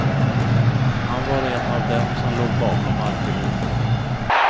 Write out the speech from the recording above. Han var en av dem som låg bakom alltihop.